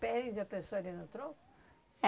Prende a pessoa ali no tronco? É